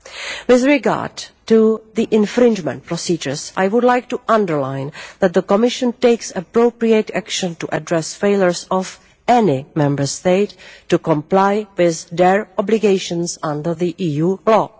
With regard to the infringement procedures, I would like to underline that the Commission takes appropriate action to address failures of any Member State to comply with their obligations under EU law.